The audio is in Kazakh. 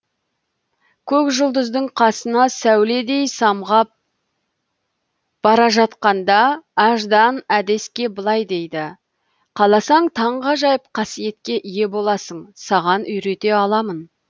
көк жұлдыздың қасынан сәуледей самғап бара жатқанда аждан әдеске былай дейді қаласаң таңғажайып қасиетке ие боласың саған үйрете аламын